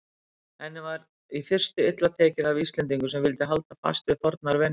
Henni var í fyrstu illa tekið af Íslendingum sem vildu halda fast við fornar venjur.